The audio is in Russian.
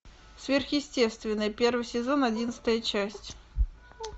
сверхъестественное первый сезон одиннадцатая часть